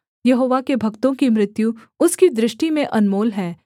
यहोवा के भक्तों की मृत्यु उसकी दृष्टि में अनमोल है